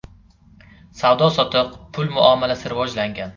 Savdo-sotiq, pul muomalasi rivojlangan.